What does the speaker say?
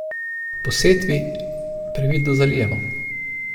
Po setvi previdno zalijemo.